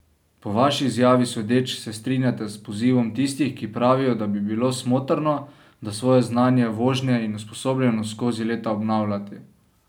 Po vaši izjavi sodeč se strinjate s pozivom tistih, ki pravijo, da bi bilo smotrno, da svoje znanje vožnje in usposobljenost skozi leta obnavljati.